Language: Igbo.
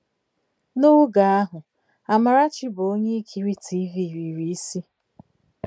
N'oge ahụ, Amarachi bụ onye ikiri Tiivii riri isi.